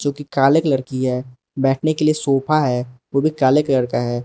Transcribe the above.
जोकि काले कलर की है बैठने के लिए सोफा है जोकि काले कलर का है।